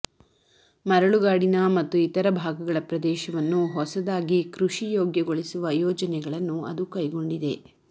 ಮರಳುಗಾಡಿನ ಮತ್ತು ಇತರ ಭಾಗಗಳ ಪ್ರದೇಶವನ್ನು ಹೊಸದಾಗಿ ಕೃಷಿ ಯೋಗ್ಯಗೊಳಿಸುವ ಯೋಜನೆಗಳನ್ನು ಅದು ಕೈಗೊಂಡಿದೆ